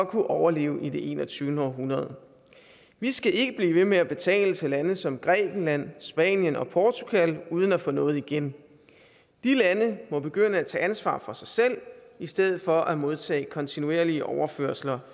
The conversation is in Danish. kan overleve i det enogtyvende århundrede vi skal ikke blive ved med at betale til lande som grækenland spanien og portugal uden at få noget igen de lande må begynde at tage ansvar for sig selv i stedet for at modtage kontinuerlige overførsler